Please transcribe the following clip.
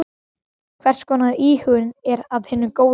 Hvers konar íhugun er af hinu góða.